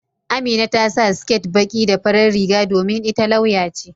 Amina ta sa siket baƙi da farar riga domin ita lauya ce.